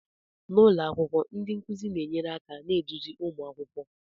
N'ụlọ akwụkwọ ndi nkuzi na enyere aka na-eduzi ụmụ akwụkwọ